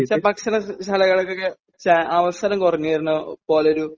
sir ഭക്ഷണശാലകൾക്കൊക്കെ ചാ അവസരം കുറഞ്ഞു വരുന്ന പോലെ ഒരു